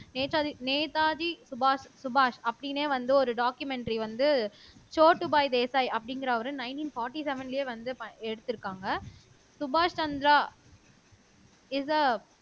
நேதாஜி நேதாஜி சுபாஷ் சுபாஷ் அப்படின்னே வந்து ஒரு டாக்குமெண்ட்டரி வந்து சோட்டு பாய் தேசாய் அப்படிங்கிறவரு நைன்டீன் போர்ட்டி செவ்வென்லயே வந்து எடுத்திருக்காங்க சுபாஷ் சந்திரா இஸ் எ